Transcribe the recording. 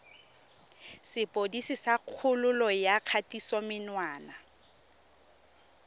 sepodisi sa kgololo ya kgatisomenwa